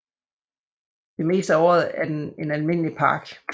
Det meste af året er den en almindelig park